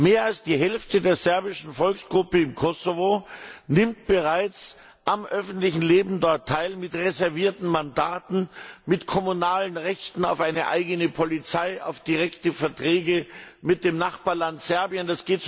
Mehr als die Hälfte der serbischen Volksgruppe im Kosovo nimmt bereits am öffentlichen Leben dort teil mit reservierten Mandaten, mit kommunalen Rechten auf eine eigene Polizei, auf direkte Verträge mit dem Nachbarland Serbien.